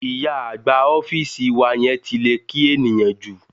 Ìyá àgbà ọ́fíìsì wa yẹn ti lè kí ènìyàn jù.